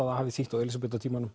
það hafi þýtt á